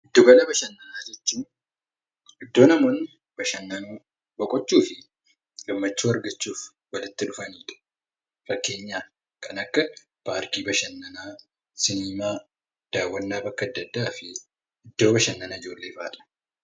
Giddu gala bashannanaa jechuun iddoo namoonni bashannanuu, boqochuu fi gammachuu argachuuf itti walitti dhufanidha. Fakkeenyaaf kan akka paarkii bashannanaa, siniimaa, dawwannaa bakka adda addaa iddoo bashannanaa jennee waamna.